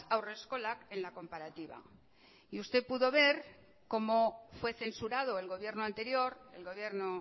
haurreskolak en la comparativa y usted pudo ver cómo fue censurado el gobierno anterior el gobierno